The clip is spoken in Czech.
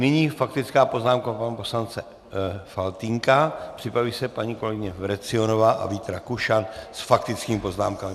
Nyní faktická poznámka pana poslance Faltýnka, připraví se paní kolegyně Vrecionová a Vít Rakušan s faktickými poznámkami.